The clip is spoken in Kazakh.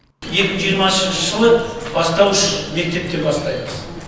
екі мың жиырмасыншы жылы бастауыш мектептен бастаймыз